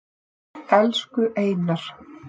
Elsku Einar.